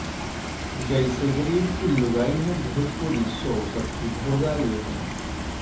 जइसे गरीब की लुगाई है भोजपुरी सो सबकी भौजाई है